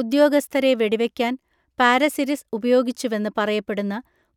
ഉദ്യോഗസ്ഥരെ വെടിവയ്ക്കാൻ പാരസിരിസ് ഉപയോഗിച്ചുവെന്ന് പറയപ്പെടുന്ന